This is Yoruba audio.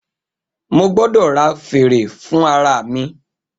Mo gbọdọ ra fère fun ara mi.